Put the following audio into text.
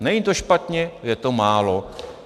Není to špatně, je to málo.